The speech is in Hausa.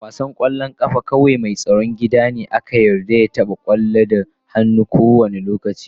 A wasan kwallon kafa kawai mai tsaron gida ne ake yarda ya taba kwallon da hannunsa a kowane lokaci.